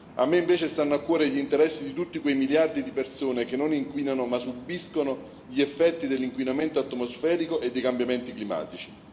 A me, invece, stanno a cuore gli interessi di tutti quei miliardi di persone che non inquinano, ma subiscono gli effetti dell'inquinamento atmosferico e dei cambiamenti climatici.